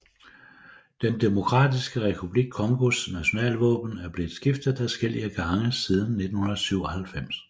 Den Demokratiske Republik Congos nationalvåben er blevet skiftet adskillige gange siden 1997